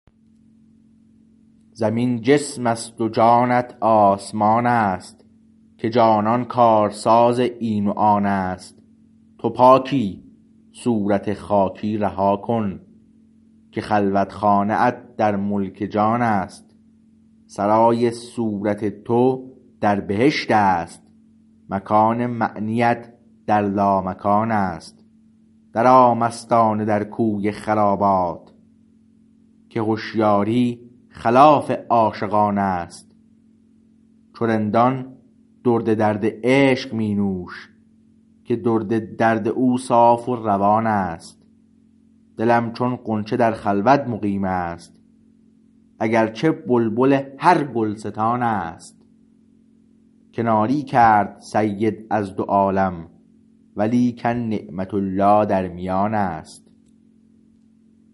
زمین جسم است و جانت آسمان است که جانان کارساز این و آن است تو پاکی صورت خاکی رها کن که خلوت خانه ات در ملک جان است سرای صورت تو در بهشت است مکان معنیت در لامکان است در آ مستانه در کوی خرابات که هشیاری خلاف عاشقان است چو رندان درد درد عشق می نوش که درد درد او صاف روان است دلم چون غنچه در خلوت مقیم است اگر چه بلبل هر گلستان است کناری کرد سید از دو عالم و لیکن نعمت الله در میان است